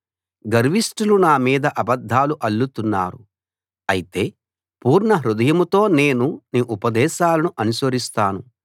గర్విష్ఠులు నా మీద అబద్ధాలు అల్లుతున్నారు అయితే పూర్ణహృదయంతో నేను నీ ఉపదేశాలను అనుసరిస్తాను